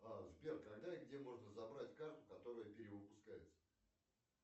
сбер когда и где можно забрать карту которая перевыпускается